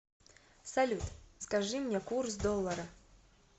салют скажи мне курс доллара